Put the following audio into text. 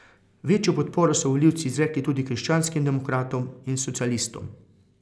Večjo podporo so volivci izrekli tudi krščanskim demokratom in socialistom.